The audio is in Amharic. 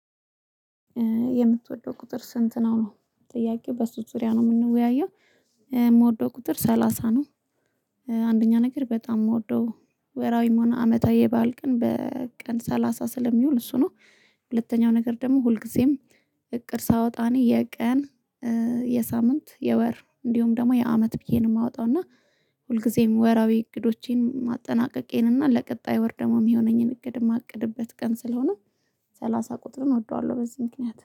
የምትወደው ቁጥር ስንት ነው ነው ጥያቄው በሱ ዙሪያ ነው የምንወያየው። የምወደው ቁጥር ሰላሳ ነው። አንደኛ ነገር በጣም የምወደው ወራዊም ሆነ አመታዊ የባል ቀን በቀን ሰላሳ ስለሚውል እሱ ነው። ሁለተኛው ነገር ደግሞ ሁልጊዜም እቅድ ሳወጣ እኔ የቀን የሳምንት የወር እንዲሁም ደግሞ የአመት ብዬ ነው የማወጣው እና ሁልጊዜም ወራዊ እቅዶቼን ማጠናቀቄን እና ለቀጣይ ወርደማም የሆነኝን እግድ የማቅድበት ቀን ስለሆነ ሰላሳ ቁጥር እወደዋለሁ። በዚህ ምክንያት